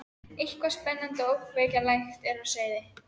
Eitthvað spennandi og ógnvænlegt er á seyði.